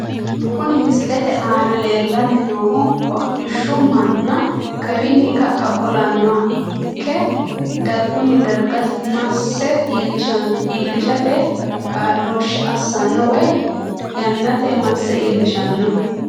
Kuni misilete aana leelani noohu hodhishshu mana kawiini ka`a qolanoha ikke darguni darga mase iilishate kaaloshe asano woyi yanate mase iilishano.